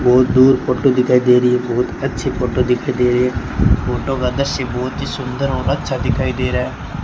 बोहोत दूर फोटो दिखाई दे री हैं बोहोत अच्छी फोटो दिखाई दे री हैं फोटो का दृश्य बोहोत ही सुंदर और अच्छा दिखाई दे रहा है।